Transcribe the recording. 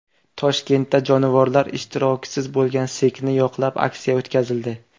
Toshkentda jonivorlar ishtirokisiz bo‘lgan sirkni yoqlab, aksiya o‘tkazildi.